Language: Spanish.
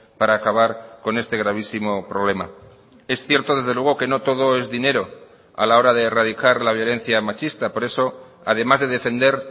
para acabar con este gravísimo problema es cierto desde luego que no todo es dinero a la hora de erradicar la violencia machista por eso además de defender